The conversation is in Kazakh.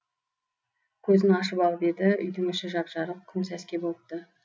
көзін ашып алып еді үйдің іші жап жарық күн сәске болыпты